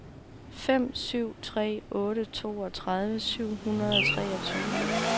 fem syv tre otte toogtredive syv hundrede og treogtyve